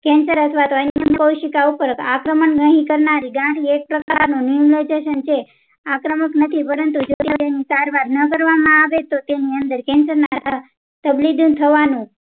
cancer અથવા તો અંંડકોઉપર સિકા ઉપર આક્રમક નહિ કરનારી ગાંઠ એક પ્રકાર ની આક્રમક નથી પરંતુ જો તેની કરવામાં ન કરવામાં આવે તો તેની અંદર cancer અથવા bleeding થવાનું